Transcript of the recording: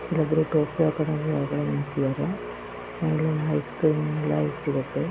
ಇಲ್ಲಿ Coca Cola ಇಟ್ಟಿದ್ದಾರೆ ice cream ಎಲ್ಲಾ ಸಿಗುತ್ತದೆ.